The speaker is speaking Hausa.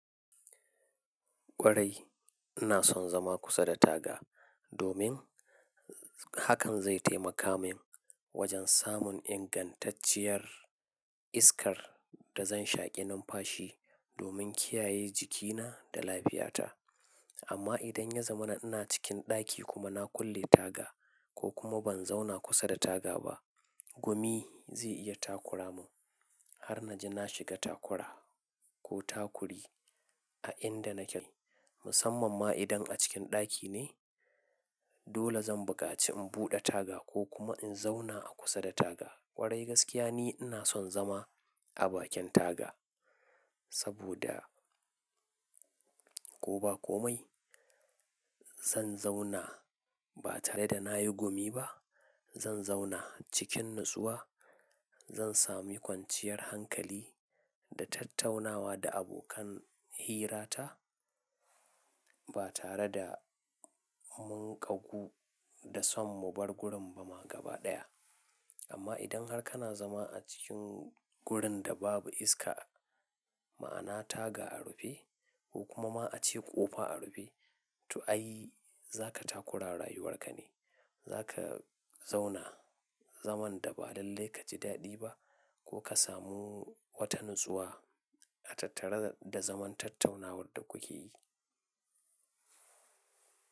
Kwarai ina son zama kusa da taga domin hakan zai taimaka min wajen samun ingantacciyar iskar da zan shaƙi nan fashi domin kiyaye jikina da lafiyata. Amma idan ya zama na ina cikin ɗaki kuma na kulle taga ko kuma ban zauna kusa da taga ba, gumi zai iya takura mun har na ji na shiga takura ko takuri a inda nake, musamman ma idan a cikin ɗaki ne. Dole zan buƙaci in buɗe taga ko kuma in zauna a kusa da taga. Kwarai gaskiya ne ina son zama a bakin taga saboda ko ba komai zan zauna ba tare da na yi gumi ba. Zan zauna cikin natsuwa, zan sami kwanciyar hankali da tattaunawa da abokan hirata ba tare da munƙagu da son mu bar gurin ba ma gaba ɗaya. Amma idan har kana zama a cikin gurin da babu iska, ma'ana taga a rufe ko kuma ma a ce ƙofa a rufe, to ai za ka takura rayuwar ka ne. Za ka zauna zaman da ba lalle ka ji daɗi ba ko ka samu wata natsuwa a tattare da zaman tattaunawar da kuke yi.